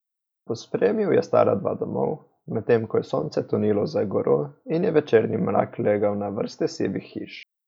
Pospremil je stara dva domov, medtem ko je sonce tonilo za goro in je večerni mrak legal na vrste sivih hiš.